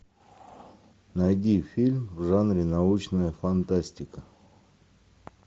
найди фильм в жанре научная фантастика